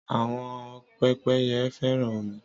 Àwọn pẹ́pẹ́yẹ fẹ́ràn omi.